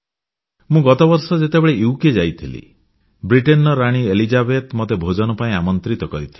ମୁଁ ଗତବର୍ଷ ଯେତେବେଳେ ବ୍ରିଟେନ ଯାଇଥିଲି ବ୍ରିଟେନର ରାଣୀ ଏଲିଜାବେଥ ମୋତେ ଭୋଜନ ପାଇଁ ଆମନ୍ତ୍ରିତ କରିଥିଲେ